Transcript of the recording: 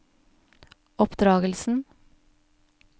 oppdragelsen